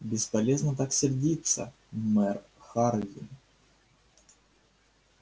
бесполезно так сердиться мэр хардин